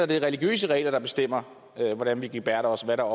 det er religiøse regler der bestemmer hvordan man gebærder sig hvad der